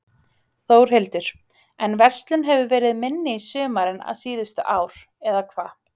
Þórhildur: En verslun hefur verið minni í sumar en síðustu ár, eða hvað?